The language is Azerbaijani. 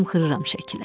Çımxırıram şəkilə.